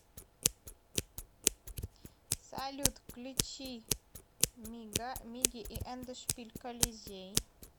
салют включи мияги и эндшпиль колизей